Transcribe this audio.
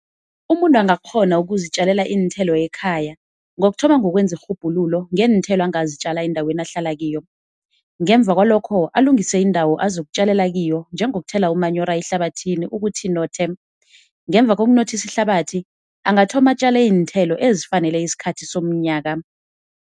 Umuntu angakghona ukuzitjalela iinthelo ekhaya ngokuthoma ngokwenza irhubhululo ngeenthelo angazitjala endaweni ahlala kiyo. Ngemva kwalokho alungise indawo azokutjlalela kiyo njengokuthela umanyora ehlabathini ukuthi inothe, ngemva kokunothisa ihlabathi angathoma atjale iinthelo ezifanele isikhathi somnyaka.